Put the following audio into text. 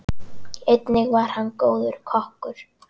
Einnig var hann góður kokkur.